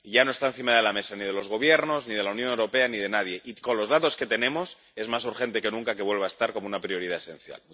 Ya no está encima de la mesa ni de los gobiernos ni de la Unión Europea ni de nadie y, con los datos que tenemos, es más urgente que nunca que vuelva a estar como una prioridad esencial.